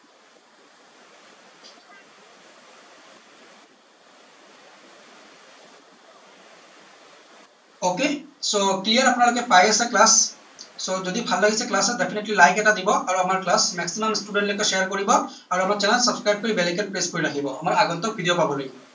ok so clear আপোনালোকে পাই আছে class so যদি ভাল লাগিছে class ত definitely like এটা দিব আৰু আমাৰ class maximum student লৈকে share কৰিব আৰু আমাৰ channel subscribe কৰি bell icon press কৰি ৰাখিব আমাৰ আগন্তোক video পাবলৈ